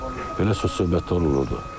Belə söz-söhbətlər olurdu.